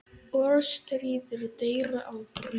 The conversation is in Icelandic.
Orðstír deyr aldrei.